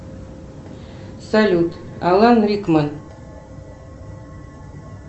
салют алан рикман